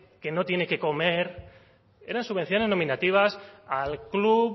que no tiene qué comer eran subvenciones nominativas al club